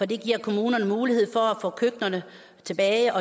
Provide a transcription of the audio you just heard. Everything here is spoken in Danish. det giver kommunerne mulighed for at få køkkenerne tilbage